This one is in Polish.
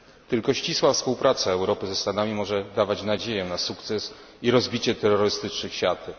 Tylko ścisła współpraca Europy ze Stanami może dawać nadzieję na sukces i rozbicie terrorystycznych siatek.